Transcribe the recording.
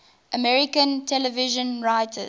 american television writers